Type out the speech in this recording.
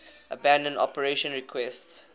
abandon operation requests